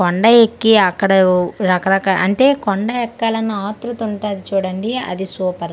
కొండ ఎక్కి అక్కడోవ్ రక రక అంటే కొండ ఎక్కలన్న ఆతృత ఉంటాది చూడండి అది సూపర్ .]